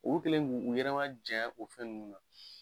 U kɛlen u yɛrɛ majanya o fɛn ninnu na.